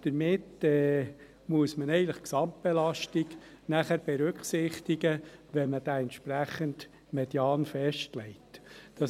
Deshalb muss man danach eigentlich die Gesamtbelastung berücksichtigen, wenn der entsprechende Median festgelegt wird.